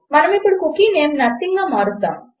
మనమిప్పుడు cookie name nothingగా మారుద్దాము